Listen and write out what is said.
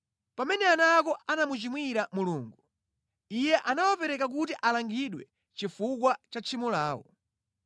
Pamene ana ako anamuchimwira Mulungu, Iye anawapereka kuti alangidwe chifukwa cha tchimo lawo.